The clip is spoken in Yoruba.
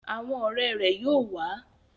Awọn ọrẹ rẹ yóò wa